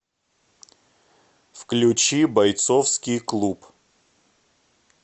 включи бойцовский клуб